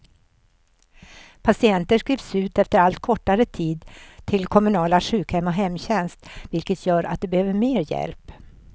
Patienter skrivs ut efter allt kortare tid till kommunala sjukhem och hemtjänst, vilket gör att de behöver mer hjälp.